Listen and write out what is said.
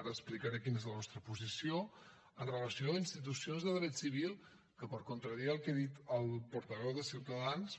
ara explicaré quina és la nostra posició amb relació a institucions de dret civil que per contradir el que ha dit el portaveu de ciutadans